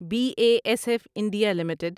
be A S F India limited